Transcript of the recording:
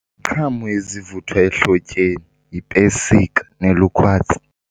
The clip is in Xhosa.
Iziqhamo ezivuthwa ehlotyeni yipesika nelukhwadzi.